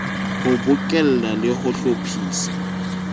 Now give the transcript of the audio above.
ho bokella le ho hlophisa